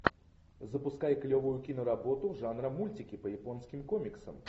запускай клевую киноработу жанра мультики по японским комиксам